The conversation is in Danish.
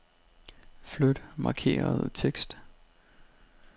Flyt markerede tekst.